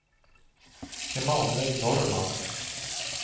Emanuel Norrman